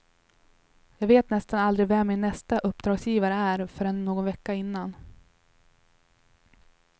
Jag vet nästan aldrig vem min nästa uppdragsgivare är förrän någon vecka innan.